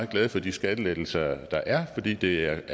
glade for de skattelettelser der er fordi det er